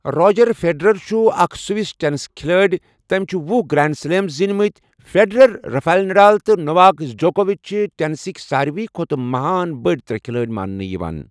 Roger Federer چھُ اَکھ Swiss tennis کھِلٲڑؠ تٔمؠ چھِ ۄہُ گرٛینٛڈ سلیم زیٖنؠ مٕتؠ فیڈَرَر، رَفایل نَڈال تہٕ نوواک جوکووِچ چھِ ٹینِسٕکؠ سارِوٕے کھۄتہٕ مَہان بٔڈؠ ترٛےٚ کھِلٲڑؠ ماننہٕ یِوان